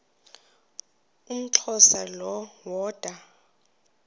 umxhosa lo woda